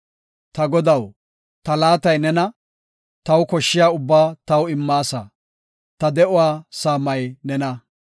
Ta Godaw ta laatay nena; taw koshshiya ubbaa taw immaasa; ta de7uwa saamay nena.